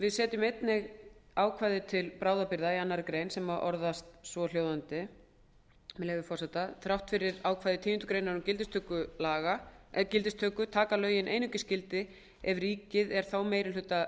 við setjum einnig ákvæði til bráðabirgða í annarri grein sem orðast svo með leyfi forseta þrátt fyrir ákvæði tíundu greinar um gildistöku taka lögin einungis gildi ef ríkið er þá